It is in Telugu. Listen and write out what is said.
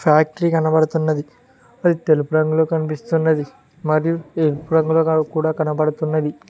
ఫ్యాక్టరీ కనబడుతున్నది తెలుపు అది రంగులో కనిపిస్తున్నది మరియు కూడా కనబడుతున్నది.